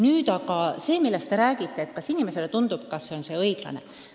Nüüd aga sellest, kas inimestele tundub, et see süsteem on ebaõiglane.